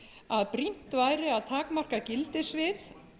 að brýnt væri að takmarka gildissvið